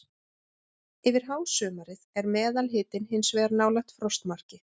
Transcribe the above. Yfir hásumarið er meðalhitinn hins vegar nálægt frostmarki.